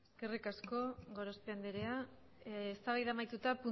eskerrik asko gorospe anderea eztabaida amaituta